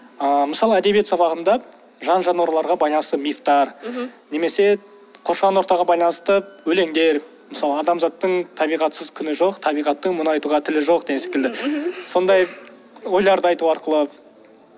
ыыы мысалы әдебиет сабағында жан жануарларға байланысты мифтар мхм немесе қоршаған ортаға байланысты өлеңдер мысалы адамзаттың табиғатсыз күні жоқ табиғаттың мұны айтуға тілі жоқ деген секілді сондай ойларды айту арқылы